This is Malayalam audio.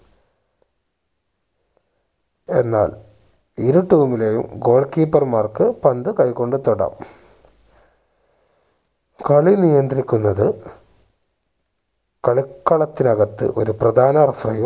എന്നാൽ ഇരു team ലെയും goal keeper മാർക്ക് പന്ത് കൈ കൊണ്ട് തൊടാം കളി നിയന്ത്രിക്കുന്നത് കളിക്കളത്തിനകത്ത് ഒരു പ്രധാന referee യും